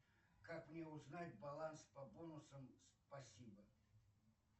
как мне узнать баланс по бонусам спасибо